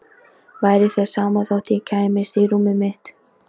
Væri þér sama þótt ég kæmist í rúmið mitt?